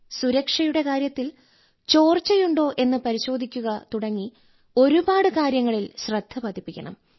സുരക്ഷയുടെ കാര്യത്തിൽ ചോർച്ചയുണ്ടോ എന്ന് പരിശോധിക്കുക തുടങ്ങി ഒരുപാട് കാര്യങ്ങളിൽ ശ്രദ്ധ പതിപ്പിക്കണം